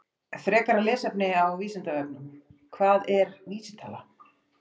Frekara lesefni á Vísindavefnum: Hvað er vísitala?